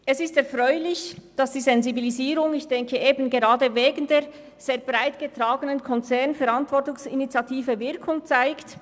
Es ist erfreulich, dass die Sensibilisierung eben gerade auch wegen der sehr breit getragenen «Konzernverantwortungsinitiative» Wirkung zeigt.